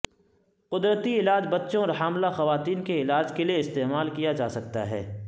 قدرتی علاج بچوں اور حاملہ خواتین کے علاج کے لیے استعمال کیا جا سکتا ہے